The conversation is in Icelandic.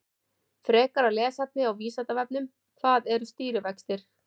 Frekara lesefni á Vísindavefnum: Hvað eru stýrivextir?